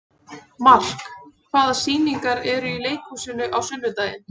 Mark, hvaða sýningar eru í leikhúsinu á sunnudaginn?